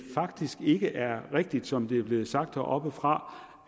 faktisk ikke er rigtigt som det er blevet sagt heroppefra